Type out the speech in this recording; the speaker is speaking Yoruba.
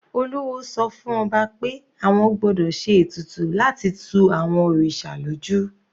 Olúwo sọ fún ọba pé àwọn gbọ́dọ̀ se ètùtù láti tu àwọn òrìṣà lójú.